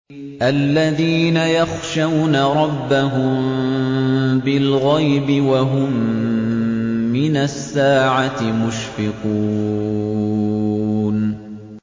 الَّذِينَ يَخْشَوْنَ رَبَّهُم بِالْغَيْبِ وَهُم مِّنَ السَّاعَةِ مُشْفِقُونَ